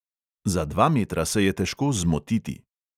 Za dva metra se je težko "zmotiti".